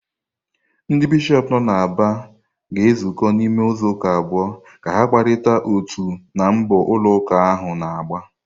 Ndị Bishọp nọ n’Aba ga-ezukọ n’ime izuụka abụọ ka ha kparịta n’uto na mbọ ụlọ ụka ahụ na-agba.